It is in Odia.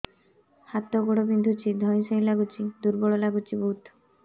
ହାତ ଗୋଡ ବିନ୍ଧୁଛି ଧଇଁସଇଁ ଲାଗୁଚି ଦୁର୍ବଳ ଲାଗୁଚି ବହୁତ